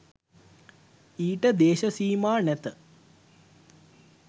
ඊට දේශ සීමා නැත.